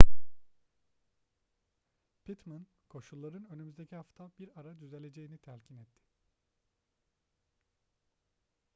pittman koşulların önümüzdeki hafta bir ara düzeleceğini telkin etti